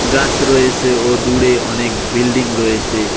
গাস রয়েসে ও দূরে অনেক বিল্ডিং রয়েসে।